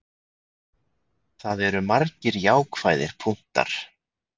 Það eru margir jákvæðir punktar.